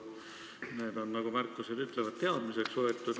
Need on, nagu märkused ütlevad, teadmiseks võetud.